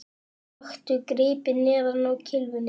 Taktu gripið neðar á kylfuna